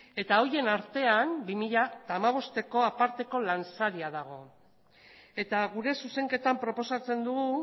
eta horien artean bi mila hamabosteko aparteko lansaria dago eta gure zuzenketan proposatzen dugu